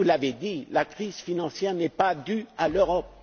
Vous l'avez dit la crise financière n'est pas due à l'Europe.